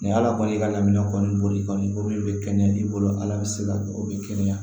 Ni ala kɔni ka laminɛ kɔni boli kɔni bɛ kɛnɛya i bolo ala bɛ se ka o bɛ kɛnɛya